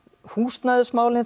húsnæðismálin